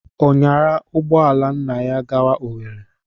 Ọ nyaara ụgbọ ala nna ya gawa Owerri?